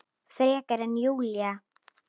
Frekar en Júlía.